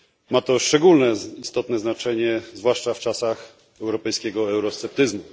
Ma to szczególnie istotne znaczenie zwłaszcza w czasach europejskiego eurosceptycyzmu.